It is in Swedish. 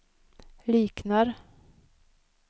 liknar